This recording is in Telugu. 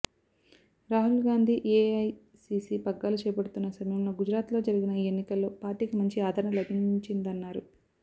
రాహుల్ గాంధీ ఏఐసీసీ పగ్గాలు చేపడుతున్న సమయంలో గుజరాత్లో జరిగిన ఈ ఎన్నికల్లో పార్టీకి మంచి ఆదరణ లభించిందన్నారు